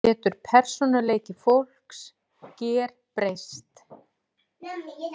Getur persónuleiki fólks gerbreyst?